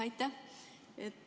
Aitäh!